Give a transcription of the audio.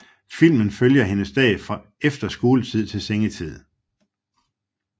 Filmen følger hendes dag fra efter skoletid til sengetid